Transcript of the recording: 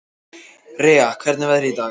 Rea, hvernig er veðrið í dag?